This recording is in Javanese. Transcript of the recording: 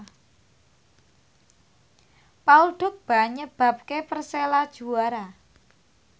Paul Dogba nyebabke Persela juara